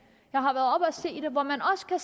og